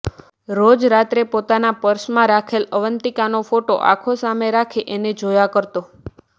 રોજ રાત્રે પોતાના પર્સમાં રાખેલ અવંતિકાનો ફોટો આંખો સામે રાખી એને જોયા કરતો